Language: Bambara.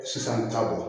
Sisan ta bɔ